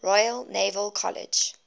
royal naval college